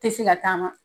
Tɛ se ka taama